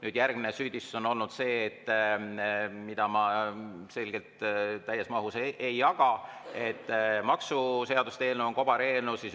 Nüüd, järgmine süüdistus on olnud see – mida ma selgelt täies mahus ei jaga –, et maksuseaduste eelnõu on kobareelnõu.